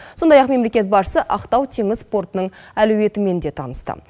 сондай ақ мемлекет басшысы ақтау теңіз портының әлеуетімен де танысты